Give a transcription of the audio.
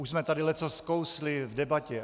Už jsme tady leccos skousli v debatě.